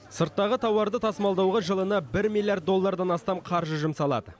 сырттағы тауарды тасымалдауға жылына бір миллиард доллардан астам қаржы жұмсалады